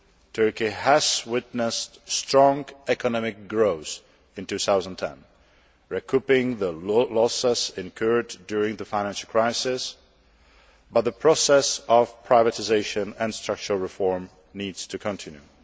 Turkey has witnessed strong economic growth in 2010, recouping the losses incurred during the financial crisis, but the process of privatisation and structural reform needs to continue.